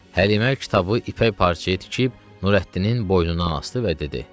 Həlimə kitabı ipək parçaya tikib, Nurəddinin boynundan asdı və dedi: